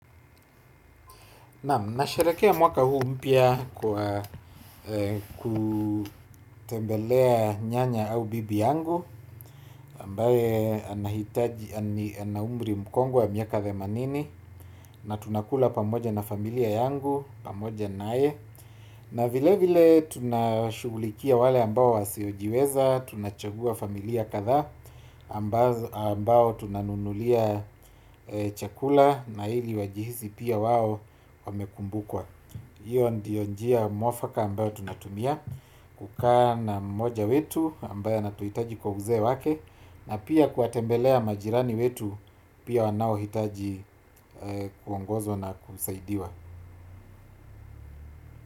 Naam nashaerehekea mwaka huu mpya kwa kutembelea nyanya au bibi yangu ambaye anahitaji ana umri mkongwe wa miaka themanini. Na tunakula pamoja na familia yangu pamoja naye. Na vile vile tunashugulikia wale ambao wasiojiweza. Tunachagua familia kadha ambao tunanunulia chakula. Na hili wajihisi pia wao wamekumbukwa. Hiyo ndiyo njia mwafaka ambayo tunatumia kukaa na mmoja wetu ambaye anatuhitaji kwa uzee wake. Na pia kuwatembelea majirani wetu. Pia wanao hitaji kuongozwa na kusaidiwa.